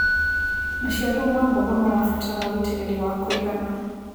Macĩaro ma mboga marabatara ũĩtĩrĩrĩ wa kũĩgana